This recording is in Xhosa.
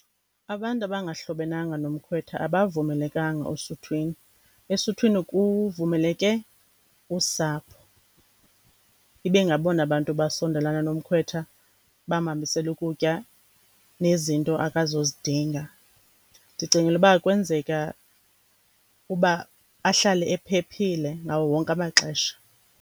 Abantu abangahlobenanga nomkhwetha abavumelekanga osuthwini. Esuthwini kuvumeleke usapho, ibe ngabona bantu basondelana nomkhwetha, bamhambisele ukutya nezinto akazozidinga. Ndicingela uba kwenzeka uba ahlale ephephile ngawo wonke amaxesha.